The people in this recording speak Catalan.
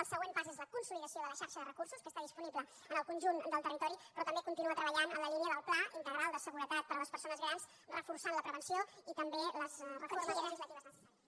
el següent pas és la consolidació de la xarxa de recursos que està disponible en el conjunt del territori però també continua treballant en la lí nia del pla integral de seguretat per a les persones grans reforçant la prevenció i també les reformes legislatives necessàries